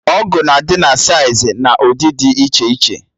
Ọgụ na adị na saịz na ụdị dị iche iche